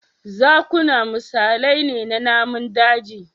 Zakuna misalai ne na namun daji